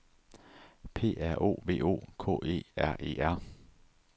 P R O V O K E R E R